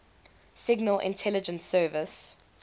signal intelligence service